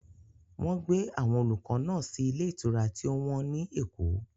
Wọ́n gbé àwọn olùkọ́ náà sí ilé ìtura tí ó wọ́n ní Èkó.